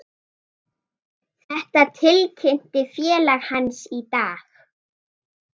Þetta tilkynnti félag hans í dag.